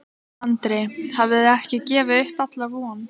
Andri: Þið hafið ekki gefið upp alla von?